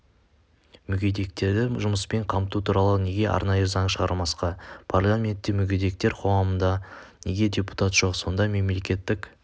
мүгедектерді жұмыспен қамту туралы неге арнайы заң шығармасқа парламентте мүгедектер қоғамынан неге депутат жоқ сонда мемлекеттік